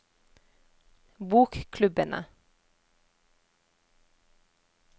bokklubbene